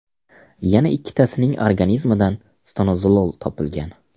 Yana ikkitasining organizmidan stanozolol topilgan.